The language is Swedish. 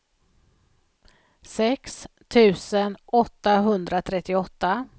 sex tusen åttahundratrettioåtta